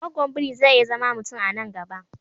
Gwaggwan biri zai iya zama mutum a nan gaba